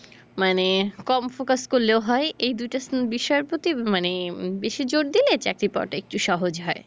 মানে কম focus করলেও হয় এই দুই টা বিষয়ের প্রতি মানে বেশী জোর দিলে চাকরি পাওয়া টা একটু সহজ হয়।